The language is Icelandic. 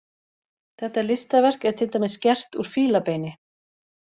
Þetta listaverk er til dæmis gert úr fílabeini.